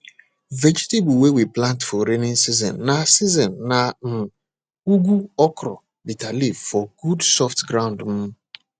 vegetable wey we plant for rainy season na season na um ugu okra bitter leaf for good soft ground um